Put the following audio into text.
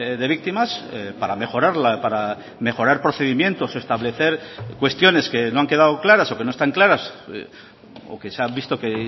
de víctimas para mejorarla para mejorar procedimientos establecer cuestiones que no han quedado claras o que no están claras o que se han visto que